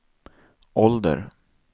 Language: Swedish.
ålder